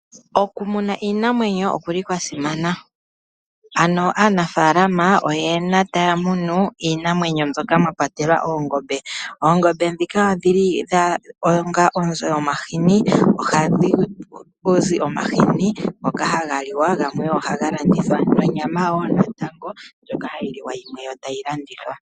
Okumuna iinamwenyo okuli kwa simana, ano aanafaalama oyena taya munu iinamwenyo mbyoka mwa kwatelwa oongombe. Oongombe dhika odhili onga onzo yomahini, ngoka haga liwa gamwe ohaga landithwa nonyama woo natango ndjoka hayi liwa yo yimwe tayi landithwa.